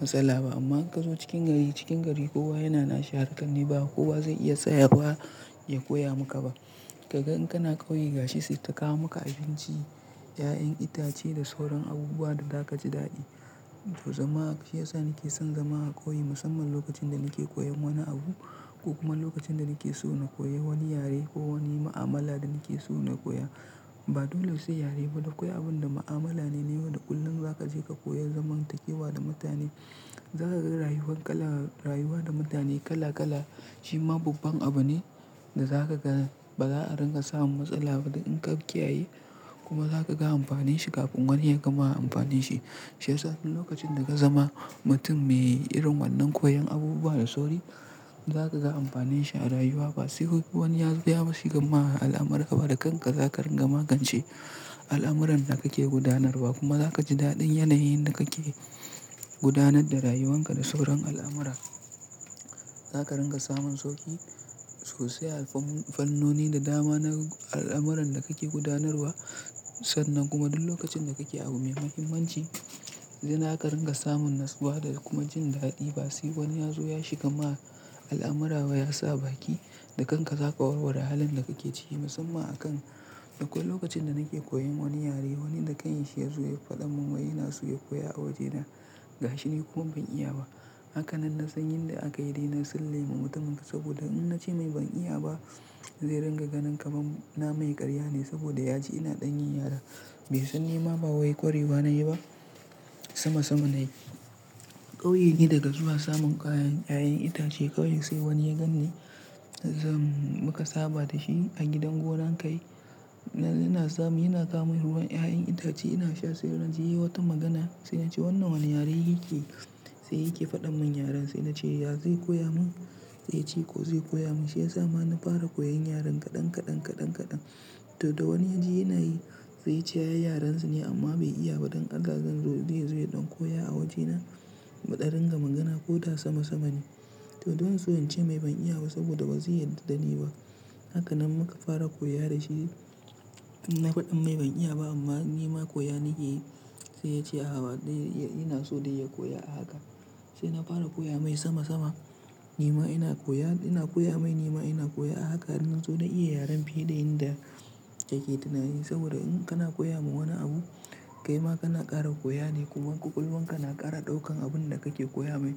matsala ba. Amma in ka zo cikin gari, cikin gari kowa yana na shahararren ne ba kowa zai iya tsaya ba ya koya maka ba. Kaga in kana ƙauye gashisi ta kawo maka abinci, ƴaƴan itace da sauran abubuwa da za ka ji daɗi. To, zama shi ya sa nake son zama a ƙauye musamman lokacin da nake koyan wani abu ko kuma lokacin da nake so na koyi wani yare ko wani ma'amala da nake so na koya. Ba dole sai yare ba, duk wani abun da ma'amala ne ne wanda ƙullun za ka je ka koya zaman takewa da mutane. Za ka ga rayuwar kala rayuwa da mutane kala kala. Shi ma babban abu ne da za ka ga ba za a ringa samun matsala ba in ka kiyaye kuma za ka ga amfanin shi kafin wani ya gama amfani shi. Shi ya sa duk lokacin da ka zama mutum me yin irin wannan koyon abubuwa da sauri za ka ga amfanin shi a rayuwa. Ba sai wani ya zo ya bashi gama al'amara ba da kanka za ka ringa magance al'amuran da kake gudanarwa kuma za ka ji daɗin yanayin da kake gudanar da rayuwanka da sauran al'amara. Za ka ringa samun sauƙi sosai a fannoni da dama na al'amuran da kake gudanarwa. Sannan kuma duk lokacin da kake abu mai mahimmanci, zai naka ringa samun natsuwa da kuma jin daɗi ba sai wani ya zo ya shiga ma al'amara ba ya sa baki da kanka za ka warware halin da kake ciki musamman a kan. Akwai lokacin da nake koyan wani yare, wani da kai ya zo ya faɗa mun wai ina so ka koya a waje na gashini kuma ban iya ba. Haka nan na san yin da aka yi dai na tsalle ma mutumin saboda in na ce mai ban iya ba zai ringa ganin kaman na mai ƙarya ne saboda ya ji ina ɗanin yara bai san ni ma ba wai ƙwari ba na yi ba. Sama sama ne. Ƙauye ne daga zuwa samun kayan ƴaƴan itace ƙauye sai wani yagan ne zam maka saba da shi a gidan gonan ka yi. Yana samu yana sa mun ruwan ƴaƴan itace ina sha sai wurin zai yi wata magana sai in ce wannan wannan yare yake sai yake faɗa mun yaren. Sai na ce, ya zai koya mun? Sai ya ce ko zai koya mun. Shi ya sa ma na fara koyon yaren kaɗan kaɗan kaɗan kaɗan. To dai wani ya ji yana yi zai cewa yarensa ne amma bai iya ba don alhazan zai zo ya ɗon koya a waje na maɗarin ga magana ko da sama sama ne. To don suwan ce mai ban iya ba saboda ba zai yada dani ba. Haka nan muka fara koya da shi. In na faɗi mai ban iya ba amma ni ma koya nake yi. Sai ya ce aa ba dai yana so dai ya koya a haka. Sai na fara koya mai sama sama. Ni ma ina koya ina koya mai ni ma ina koya a haka don in zo na iya yaren fiye da inda yake tunanin. Saboda in kana koya ma wani abu, kai ma kana ƙara koya ne kuma ƙwaƙwalwarka na ƙara ɗaukan abun da kake koya mai.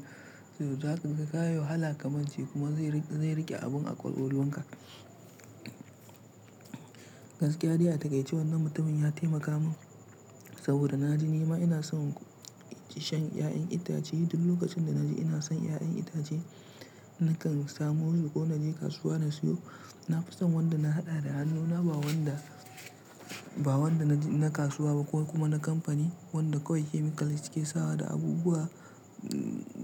To za ka kawo hala kamar shi kuma zai riƙe abun a ƙwaƙwalwarka. Gaskiya dai a gaishe wannan mutumin ya taimaka mun saboda na ji ni ma ina son shan ƴaƴan itace duk lokacin da na ji ina son ƴaƴan itace. Nakan samu wuri ko na je kasuwa na siyo. Na fi son wanda na haɗa da hannuna ba wanda ba wanda na kasuwa ba ko kuma na kamfani wanda kawai chemical suke sawa da abubuwa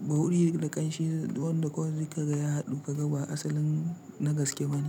ba wuri da ƙanshi wanda kawai zai ka ga ya haɗu ka ga ba asalin na gaske bane.